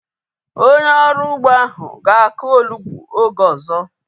Onye ọrụ ugbo ahu ga-aku onugbu oge ọzọ